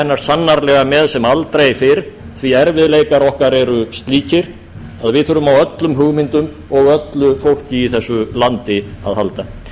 hennar sannarlega með sem aldrei fyrr því erfiðleikar okkar eru slíkir að við þurfum á öllum hugmyndum og öllu fólki í þessu landi að halda